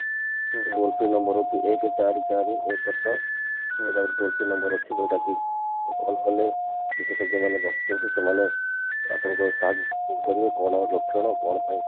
toll free number ହଉଛି ଏକେ ଚାରି ଚାରି ଏକେ ଛ ଏଇଟା ଗୋଟେ toll free number ଅଛି ଯୋଉଟା କି call କଲେ ବିଶେଷଜ୍ଞ ମାନେ ବସି ଛନ୍ତି ସେମାନେ ଆପଣଙ୍କ ସ କରିବେ କଣ ଲକ୍ଷଣ କଣ ପାଇଁ